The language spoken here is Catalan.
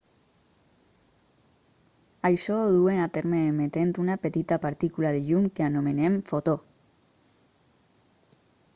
això ho duen a terme emetent una petita partícula de llum que anomenem fotó